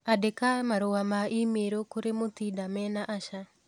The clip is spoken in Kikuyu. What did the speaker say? Andĩka marũa ma i-mīrū kũrĩ Mutinda mena Asha